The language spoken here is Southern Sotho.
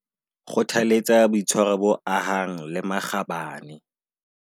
Kgothaletsa boitshwaro bo ahang le makgabane.